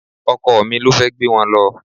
Ọkọ mi ló fẹ́ gbé wọn lọ